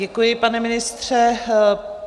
Děkuji, pane ministře.